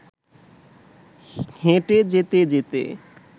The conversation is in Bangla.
হেঁটে যেতে যেতে